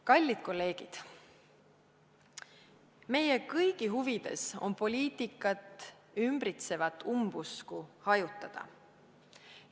Kallid kolleegid, meie kõigi huvides on poliitikat ümbritsevat umbusku hajutada.